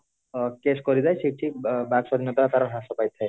ଅ case କରିବେ ସେଠି ବାକ୍ ସ୍ଵାଧୀନତାର ହ୍ରାସ ପାଇଥାଏ